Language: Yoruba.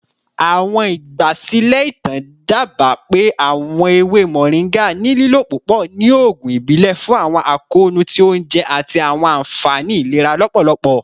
Awọn igbasilẹ itan daba pe awọn ewe moringa ni lilo pupọ ni oogun ibile fun akoonu ti ounjẹ ati awọn anfani ilera lọpọlọpọ.